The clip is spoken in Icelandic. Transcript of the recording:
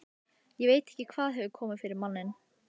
Ég veit ekki hvað hefur komið yfir manninn.